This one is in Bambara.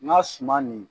N ka suma nin